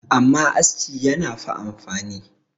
amma aski yana fa amfani